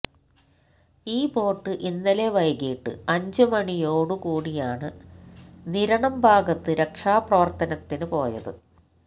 ഈ ബോട്ട് ഇന്നലെ വൈകിട്ട് അഞ്ച് മണിയോട് കൂടിയാണ് നിരണം ഭാഗത്ത് രക്ഷാ പ്രവര്ത്തനത്തിന് പോയത്